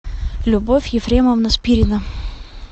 любовь ефремовна спирина